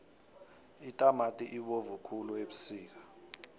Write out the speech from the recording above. itamati ibovu khulu ebusika